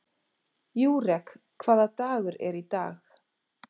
Júrek, hvaða dagur er í dag?